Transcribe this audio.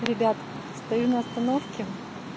ребят стою на остановке